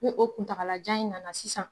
Ni o kuntagalajan in nana sisan